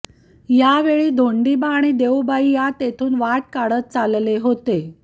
यावेळी धोंडींबा आणी देऊबाई या तेथून वाट काढत चालले होते